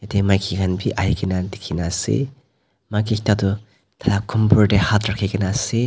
maiki khan bi ahi kena dikhina ase maiki ekta du taila tey hatt rakhi kena ase.